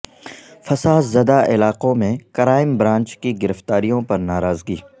فساد زدہ علاقوں میں کرائم برانچ کی گرفتاریوں پر ناراضگی